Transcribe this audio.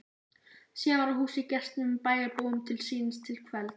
Síðan var húsið gestum og bæjarbúum til sýnis til kvelds.